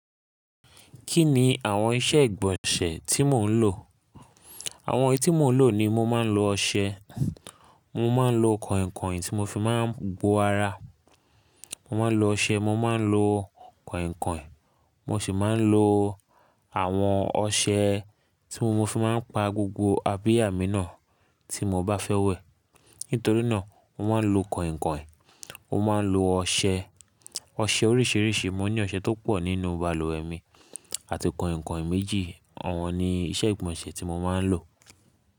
Kí ni àwọn iṣẹ́ ìgbọ̀nsẹ̀ tí mò ń lò? Àwọn eyí ti mo n lò ni mo máa ń lo ọṣẹ, mo máa ń lo kọ̀ìnkọ̀ìn tí mo fi máa ń gbọ ara. Mo máa ń lo ọṣẹ, mo máa ń lo kọ̀ìnkọ̀ìn, mo sì máa ń lo àwọn ọṣẹ tí mo fi máa ń pa gbogbo abiyá mi náà tí mo bá fẹ́ wẹ̀. Nítorí náà, mo máa ń lo kọ̀ìnkọ̀ìn, mo máa ń lo ọṣẹ, ọṣẹ oríṣiríṣi. Mo ní ọṣẹ tó pọ̀ nínú balùwẹ̀ mi àti kọ̀ìnkọ̀ìn méjì. Àwọn ni iṣẹ́ ìgbọ̀nsẹ̀ tí mo máa ń lò.